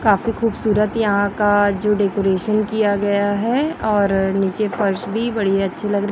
काफी खूबसूरत यहां का जो डेकोरेशन किया गया है और नीचे फर्श भी बड़ी अच्छी लग र--